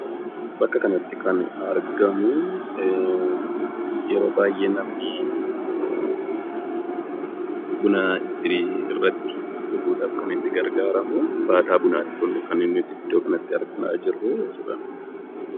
Bakka kanatti kan argamu ueroo baay'ee namni buna irratti dhuguudhaaf kan itti gargaaramu baataa bunaati jechuudha.